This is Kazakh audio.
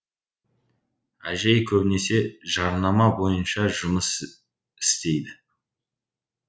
әжей көбінесе жарнама бойынша жұмыс істейді